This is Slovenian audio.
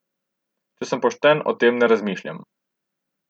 Če sem pošten, o tem ne razmišljam.